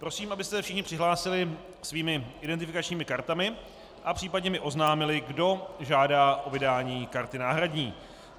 Prosím, abyste se všichni přihlásili svými identifikačními kartami a případně mi oznámili, kdo žádá o vydání karty náhradní.